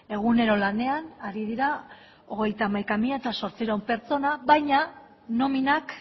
egunero lanean ari dira hogeita hamaika mila zortziehun pertsona baina nominak